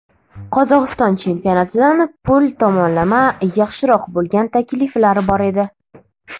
Qozog‘iston chempionatidan pul tomonlama yaxshiroq bo‘lgan takliflar bor edi.